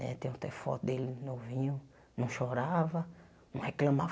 Eh tenho até foto dele novinho, não chorava, não reclamava.